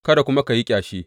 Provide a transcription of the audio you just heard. Kada kuma ka yi ƙyashi.